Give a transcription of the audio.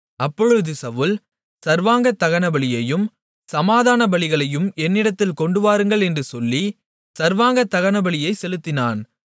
அப்பொழுது சவுல் சர்வாங்கதகனபலியையும் சமாதானபலிகளையும் என்னிடத்தில் கொண்டுவாருங்கள் என்று சொல்லி சர்வாங்கதகனபலியைச் செலுத்தினான்